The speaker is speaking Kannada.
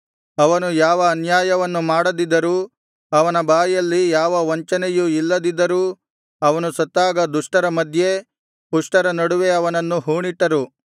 ಅವನು ಯಾವ ಅನ್ಯಾಯವನ್ನು ಮಾಡದಿದ್ದರೂ ಅವನ ಬಾಯಲ್ಲಿ ಯಾವ ವಂಚನೆಯು ಇಲ್ಲದಿದ್ದರೂ ಅವನು ಸತ್ತಾಗ ದುಷ್ಟರ ಮಧ್ಯೆ ಪುಷ್ಟರ ನಡುವೆ ಅವನನ್ನು ಹೂಣಿಟ್ಟರು